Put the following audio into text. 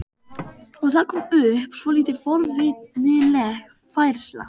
Og það kom upp svolítið forvitnileg færsla.